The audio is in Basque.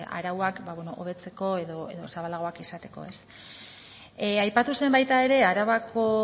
ba bueno arauak ba bueno hobetzeko edo zabalagoak izateko ez aipatu zen baita ere arabako